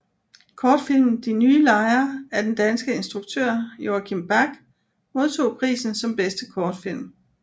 Kortfilmen De nye lejere af den danske instruktør Joachim Back modtog prisen som bedste kortfilm